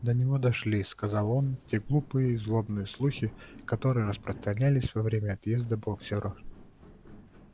до него дошли сказал он те глупые и злобные слухи которые распространялись во время отъезда боксёра